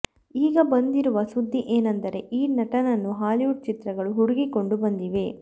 ಈಗ ಬಂದಿರುವ ಸುದ್ದಿ ಏನೆಂದರೆ ಈ ನಟನನ್ನು ಹಾಲಿವುಡ್ ಚಿತ್ರಗಳು ಹುಡುಕಿಕೊಂಡು ಬಂದಿವೆ